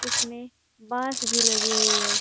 इसमें बांस भी लगी हुई है।